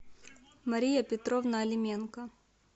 мария петровна алименко